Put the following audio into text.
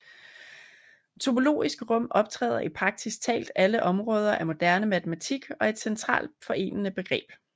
Topologiske rum optræder i praktisk talt alle områder af moderne matematik og er et centralt forenende begreb